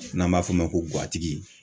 N'an b'a f'o ma ko guwatigi